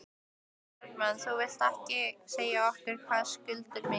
Sólveig Bergmann: Þú vilt ekki segja okkur hvað skuldir mikið?